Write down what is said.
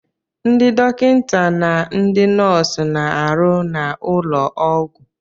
Ndị dọkịta na ndị nọọsụ na-arụ n'ụlọ ọgwụ.